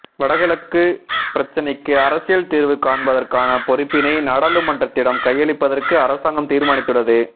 வடக்கு கிழக்கு பிரச்சினைக்கு அரசியல் தீர்வு காண்பதற்கான பொறுப்பினை நாடாளுமன்றத்திடம் கையளிப்பதற்கு அரசாங்கம் தீர்மானித்துள்ளது